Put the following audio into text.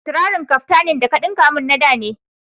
Trarin kaftanin da ka ɗunka min na da ne.